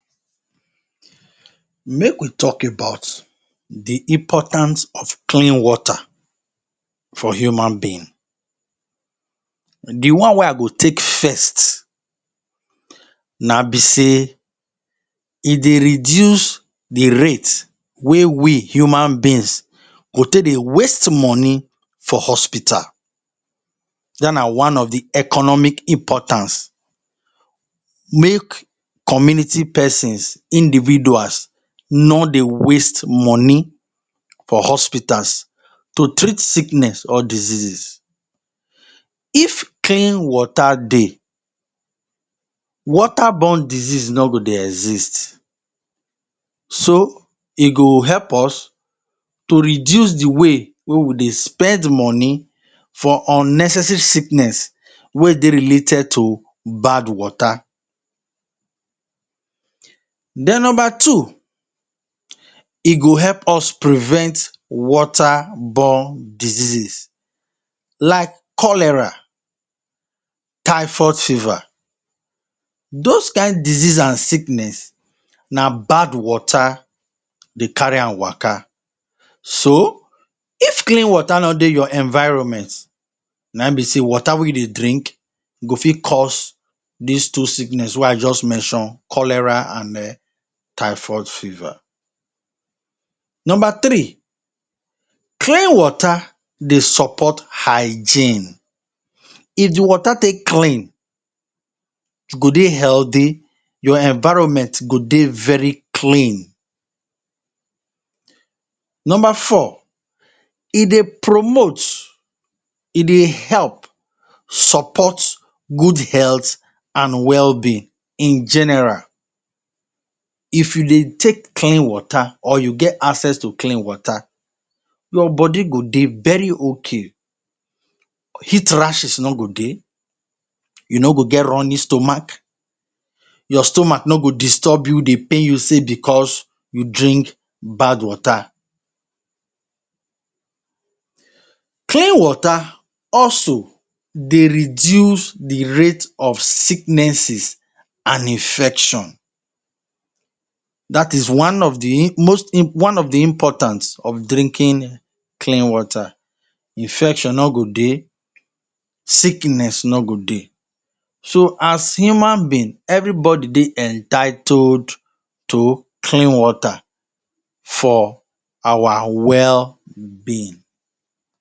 Make we talk about the importance of clean water for human being. The one wey I go take first na be sey e dey reduce the rate wey we human beings go take dey waste money for hospital. Dat na one of the economic importance. Make community pesins, individuals, no dey waste money for hospitals to treat sickness or diseases. If clean water dey, water borne disease no go dey exist. So, e go help us to reduce the way wey we dey spend money for unnecessary sickness wey dey related to bad water. Then nomba two, e go help us prevent water borne diseases like cholera, typhoid fever. Dos kain disease an sickness, na bad water dey carry an waka. So, if clean water no dey your environment, na ein be sey water wey you drink go fit cause dis two sickness wey I juz mention: cholera, an eh typhoid fever. Nomba three, clean water dey support hygiene. If the water take clean, you go dey healthy, your environment go dey very clean. Nomba four, e dey promote, e dey help support good health an wellbeing in general. If you dey take clean water or you get access to clean water, your body go dey very okay. Heat rashes no go dey, you no go get running stomach, your stomach no go disturb you, dey pain you sey becos you drink bad water. Clean water also dey reduce the rate of sicknesses an infection. Dat is one of the most one of the important of drinking clean water. Infection no go dey, sickness no go dey. So, as human being, everybody dey entitled to clean water for our wellbeing.